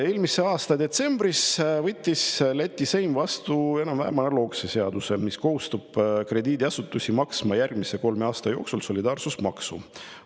Eelmise aasta detsembris võttis Läti Seim vastu enam-vähem analoogse seaduse, mis kohustab krediidiasutusi maksma järgmise kolme aasta jooksul solidaarsusmaksu.